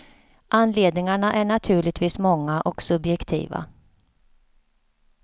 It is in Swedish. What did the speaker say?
Anledningarna är naturligtvis många och subjektiva.